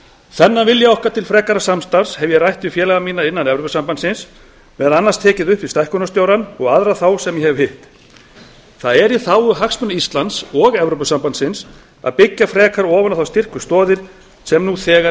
þennan vilja okkar til frekara samstarfs hef ég rætt við félaga mína innan evrópusambandsins meðal annars tekið upp við stækkunarstjórann og aðra þá sem ég hef hitt það er í þágu hagsmuna íslands og evrópusambandsins að byggja frekar ofan á þær styrku stoðir sem nú þegar